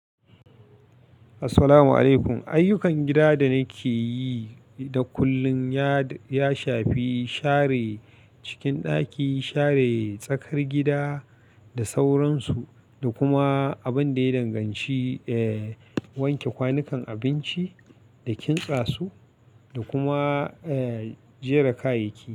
Assalamu alaykum. Ayyukan gida da nake yi da kullum ya, ya shafi share cikin ɗaki, share tsakar gida da sauransu, da kuma abin da ya danganci, eh, wanke kwanukan abinci da kintsa su, da kuma, eh, jera kayayyaki.